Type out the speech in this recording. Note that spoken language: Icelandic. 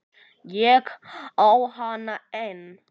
Ég á hana enn.